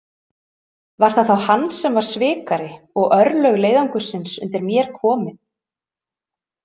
Var það þá hann sem var svikari og örlög leiðangursins undir mér komin?